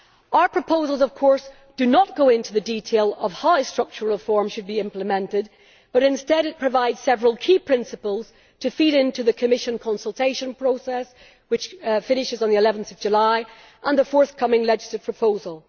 Our proposals of course do not go into the detail of how structural reform should be implemented but instead provide several key principles to feed into the Commission consultation process, which finishes on 11 July, and the forthcoming legislative proposal.